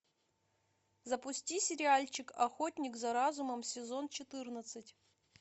запусти сериальчик охотник за разумом сезон четырнадцать